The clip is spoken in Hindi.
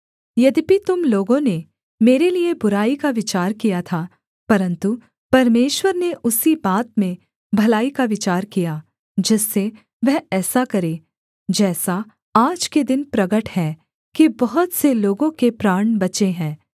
यद्यपि तुम लोगों ने मेरे लिये बुराई का विचार किया था परन्तु परमेश्वर ने उसी बात में भलाई का विचार किया जिससे वह ऐसा करे जैसा आज के दिन प्रगट है कि बहुत से लोगों के प्राण बचे हैं